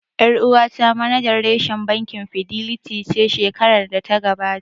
Ƴar uwata manajan reshen bankin Fidelity ce shekarar da ta gabata